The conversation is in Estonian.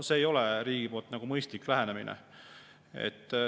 See ei ole riigi poolt mõistlik lähenemine.